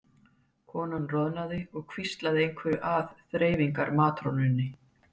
Konan roðnaði og hvíslaði einhverju að þreifingar- matrónunni.